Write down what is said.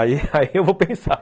Aí eu vou pensar.